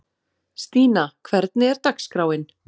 Stína, hvernig er dagskráin?